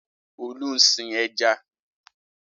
Olú ń sin ẹja.